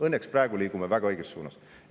Õnneks praegu me liigume väga õiges suunas.